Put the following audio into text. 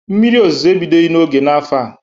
Mmiri ozuzo ebidoghi n'oge n'afọ a.